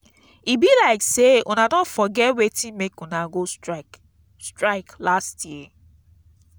e be like sey una don forget wetin make una go strike strike last year.